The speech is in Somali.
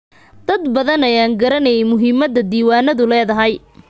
Dad badan ayaan garaneyn muhiimada diiwaanadu leedahay.